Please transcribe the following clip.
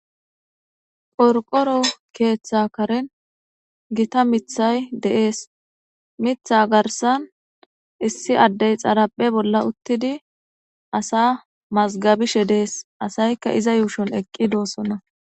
qorqoro keeththa karin gita mithay deees mitha garsan issi addey xaraphe bolla uttidi asa mazgabishe dees asaykka iza yuushon eqqi doossonna